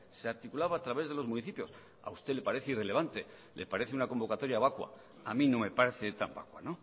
se articulaba a través de los municipios a usted le parece irrelevante le parece una convocatoria vacua a mí no me parece tan vacua